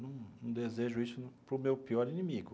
Não não desejo isso para o meu pior inimigo.